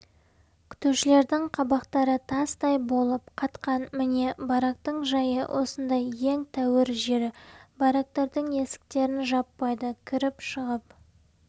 күтушілердің қабақтары тастай болып қатқан міне барақтың жайы осындай ең тәуір жері барактардың есіктерін жаппайды кіріп-шығып